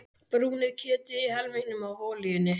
Brúnið kjötið í helmingnum af olíunni.